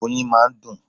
Oyin máa ń dùn.